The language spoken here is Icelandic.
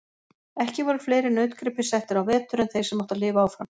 Ekki voru fleiri nautgripir settir á vetur en þeir sem áttu að lifa áfram.